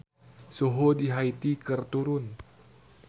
Suhu di Haiti keur turun